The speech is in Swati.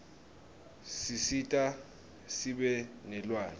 sisita sibe nelwati